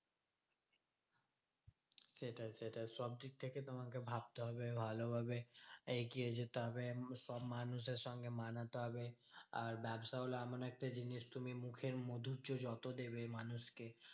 সেটাই সেটাই সব দিক থেকে তোমাকে ভাবতে হবে ভালোভাবে এগিয়ে যেতে হবে এবং সব মানুষের সঙ্গে মানাতে হবে। আর ব্যবসা হলো এমন একটা জিনিস তুমি মুখের মাধুর্য যত দেবে মানুষ কে